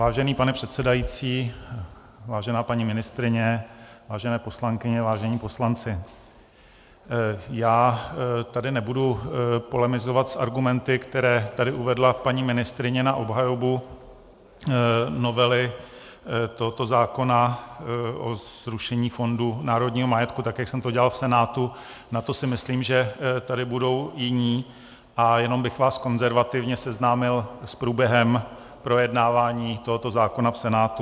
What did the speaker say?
Vážený pane předsedající, vážená paní ministryně, vážené poslankyně, vážení poslanci, já tady nebudu polemizovat s argumenty, které tady uvedla paní ministryně na obhajobu novely tohoto zákona o zrušení Fondu národního majetku, tak, jak jsem to dělal v Senátu, na to si myslím, že tady budou jiní, a jenom bych vás konzervativně seznámil s průběhem projednávání tohoto zákona v Senátu.